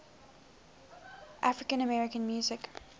african american music